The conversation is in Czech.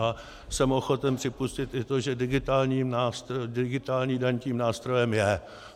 A jsem ochoten připustit i to, že digitální daň tím nástrojem je.